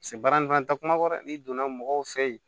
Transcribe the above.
baara in fɛn takuma kɔ dɛ n'i donna mɔgɔw fɛ yen